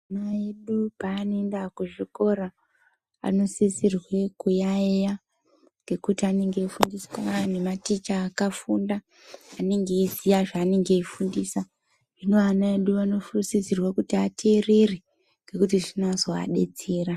Ana edu paanoenda kuzvikora anozisirwe kuyayeya ngekuti anenge eifundiswa ngematicha akafunda ,anenge eiziya zvaanenge eifundisa. Zvino ana edu anosisirwa kuti ateerere ngekuti zvinozoadetsera.